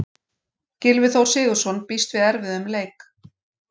Gylfi Þór Sigurðsson býst við erfiðum leik.